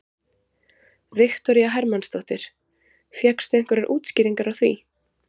Viktoría Hermannsdóttir: Fékkstu einhverjar útskýringar á því?